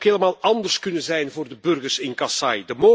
Het had ook helemaal anders kunnen zijn voor de burgers in Kasaï.